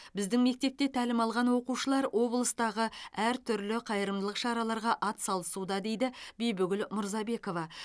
біздің мектепте тәлім алған оқушылар облыстағы әр түрлі қайырымдылық шараларға атсалысуда дейді бибігүл мырзабекова